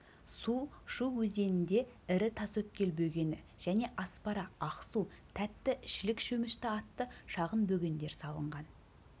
су шу өзенінде ірі тасөткел бөгені және аспара ақсу тәтті шілік шөмішті атты шағын бөгендер салынған